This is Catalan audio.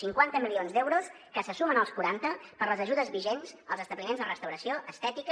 cinquanta milions d’euros que se sumen als quaranta per a les ajudes vigents als establiments de restauració estètica